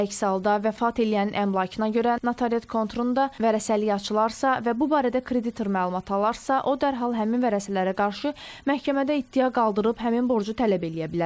Əks halda, vəfat eləyənin əmlakına görə notariat konturunda vərəsəlik açılarsa və bu barədə kreditor məlumat alarsa, o dərhal həmin vərəsələrə qarşı məhkəmədə iddia qaldırıb həmin borcu tələb eləyə bilər.